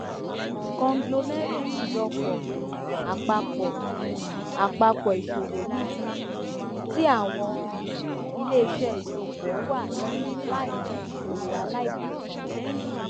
conglomerate ìjọpọ um àpapọ um àpapọ ìṣòwò níbi um tí àwọn um iléiṣẹ ìṣọpọ wà ní làínì ìṣòwò aláìbátan